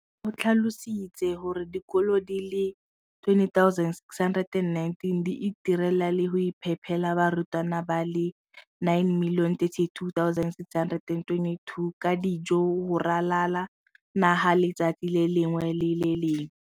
O tlhalositse gore dikolo di le 20 619 di itirela le go iphepela barutwana ba le 9 032 622 ka dijo go ralala naga letsatsi le lengwe le le lengwe.